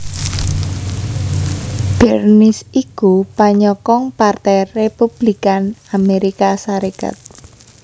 Bernice iku panyokong Partai Républikan Amérika Sarékat